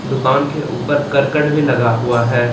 दुकान के ऊपर करकट भी लगा हुआ है।